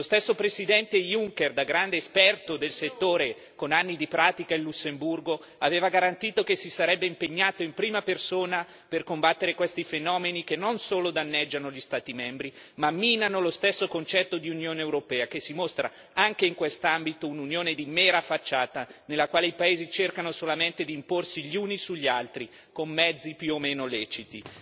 Lo stesso Presidente Juncker, da grande esperto del settore, con anni di pratica in Lussemburgo, aveva garantito che si sarebbe impegnato in prima persona per combattere questi fenomeni che non solo danneggiano gli Stati membri ma minano lo stesso concetto di Unione europea, che si mostra anche in questo ambito un'Unione di mera facciata, nella quale i paesi cercano solamente di imporsi gli uni sugli altri con mezzi più o meno leciti.